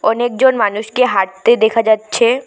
অনেকজন মানুষকে হাঁটতে দেখা যাচ্ছে।